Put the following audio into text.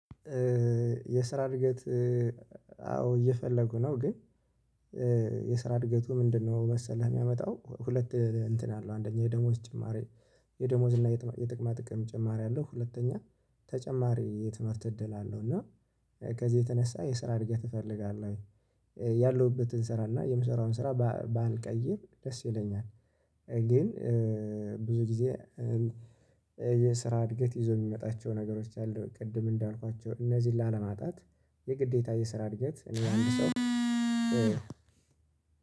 የስራ እድገት አዎ እየፈለጉ ነው። ግን የስራ እድገቱ ምንድነው? መሰለህ የሚያመጣው ሁለት እንትን አለው አንደኛ የደሞዝ ጭማሪ የደሞዝ እና የጥቅማ ጥቅም ጭማሪ አለው። ሁለተኛ ተጨማሪ የትምህርት እድል አለው። እና ከዚህ የተነሳ የስራ እድገት እፈልጋለሁ። ወይ ያለሁበትን ስራ እና የምሰራውን ስራ ባልቀይር ደስ ይለኛል። ግን ብዙ ጊዜ። የስራ እድገት ይዞ የሚመጣቸው ነገሮች አሉ። ቅድም እንዳልኳቸው እነዚህን ላለማጣት የግዴታ የስራ እድገት እኔ አንድ ሰው